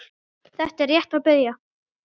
Þetta er rétt að byrja